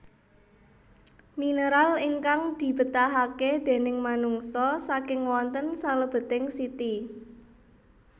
Minéral ingkang dibétahaké déning manungsa saking wonten salèbeting siti